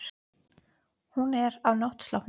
Hún er á náttsloppnum.